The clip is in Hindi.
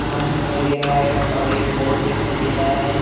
घर दिखाई दे रहा है और एक बोट दिखाई दे रहा है।